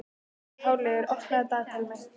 Háleygur, opnaðu dagatalið mitt.